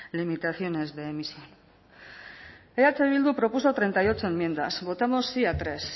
limitaciones de emisión eh bildu propuso treinta y ocho enmiendas votamos sí a tres